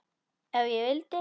Ef ég vildi.